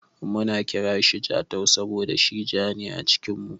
Muna kiranshi Jatau saboda shi ja ne a cikin mu.